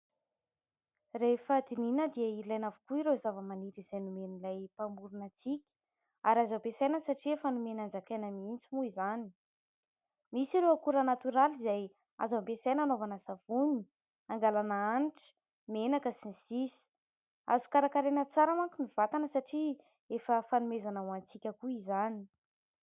Rehefa dinihana dia ilaina avokoa ireo zava-maniry izay nomen'ilay Mpamorina antsika ary azo ampiasaina satria efa nomeny hanjakaina miintsy moa izany. Misy ireo akora natoraly izay azo ampiasaina anaovana savony angalàna hanitra, menaka sy ny sisa, azo karakaraina tsara manko ny vatana satria efa fanomezana ho antsika koa izany.